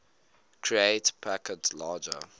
create packets larger